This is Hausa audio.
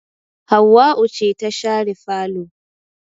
Hauwau ce ta share falo